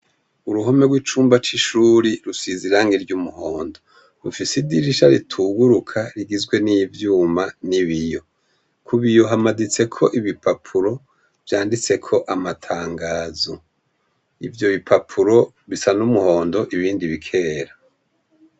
Uruhome rw’icumba c’ishuri rusize irangi ry’umuhondo, rufis’idirisha rituguruka rigizwe n’ivyuma n’ibiyo. kubiyo hamaditseko ibipapuro vyanditseko amatangazo, ivyo bipapuro bisa n’umuhondo ibindi bikera.